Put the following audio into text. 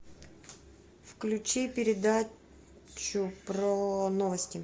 включи передачу про новости